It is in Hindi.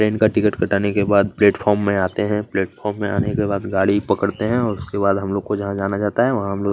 ट्रेन का टिकट कटाने के बाद प्लेटफार्म में आते हैं प्लेटफार्म में आने के बाद गाड़ी पकड़ते हैं उसके बाद हम लोग को जहां जाना जाता है वहां हम लोग--